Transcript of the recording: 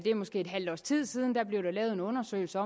måske et halvt års tid siden der blev der lavet en undersøgelse